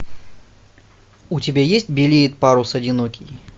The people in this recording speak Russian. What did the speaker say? у тебя есть белеет парус одинокий